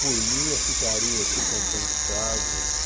Por mim, eu ficaria aqui contando casos.